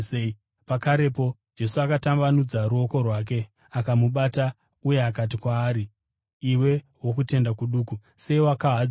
Pakarepo Jesu akatambanudza ruoko rwake akamubata, uye akati kwaari, “Iwe wokutenda kuduku, sei wakahadzika?”